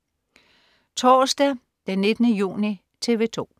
Torsdag den 19. juni - TV 2: